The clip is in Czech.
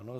Ano.